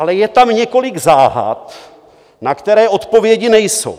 Ale je tam několik záhad, na které odpovědi nejsou.